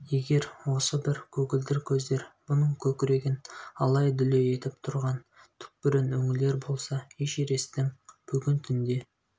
егер осы бір көгілдір көздер бұның көкірегін алай-дүлей етіп тұрған түкпірін үңілер болса эшересттің бүгін түнде